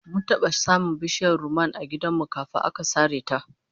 Mun taba samun bishiyar rumman a gidan mu kafin aka sare ta